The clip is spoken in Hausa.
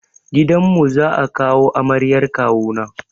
Gidan mu za a kawo amaryar kawu na.